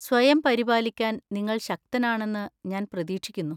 സ്വയം പരിപാലിക്കാൻ നിങ്ങൾ ശക്തനാണെന്ന് ഞാൻ പ്രതീക്ഷിക്കുന്നു.